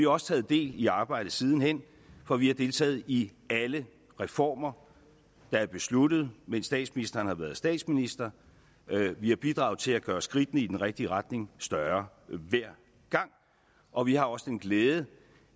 også taget del i arbejdet siden hen for vi har deltaget i alle reformer der er besluttet mens statsministeren har været statsminister vi har bidraget til at gøre skridtene i den rigtige retning større hver gang og vi har også den glæde